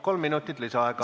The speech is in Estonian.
Kolm minutit lisaaega.